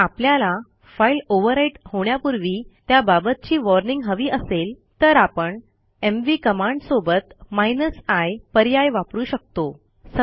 जर आपल्याला file overwrite होण्यापूर्वी त्याबाबतची वॉर्निंग हवी असेल तर आपण एमव्ही कमांडसोबत i पर्याय वापरू शकतो